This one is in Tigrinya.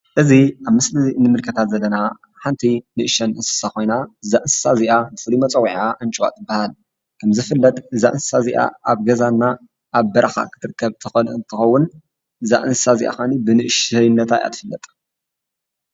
እዚ ኣብ ምስሊ ንምልከታ ዘለና ሓንቲ ንእሽቶን እንስሳ ኮይና እዛ እንስሳ እዚኣ መፅዊዒዓ ኣንጭዋ ትባሃል ።ከም ዝፍለጥ እዛ እንስሳ እዚኣ ኣብ ገዛና በረካን እትርከብ እንትኸውን እዛ እንስሳ እዚኣ ካዓኒ ብንእሽተይነታ እያ ትፍለጥ።